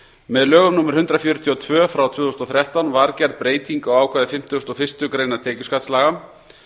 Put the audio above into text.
með lögum númer hundrað fjörutíu og tvö tvö þúsund og þrettán var gerð breyting á ákvæði fimmtugustu og fyrstu greinar tekjuskattslaga